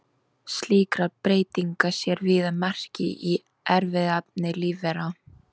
Slíkra breytinga sér víða merki í erfðaefni lífvera.